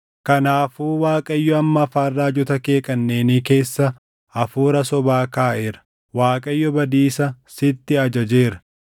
“Kanaafuu Waaqayyo amma afaan raajota kee kanneenii keessa hafuura sobaa kaaʼeera. Waaqayyo badiisa sitti ajajeera.”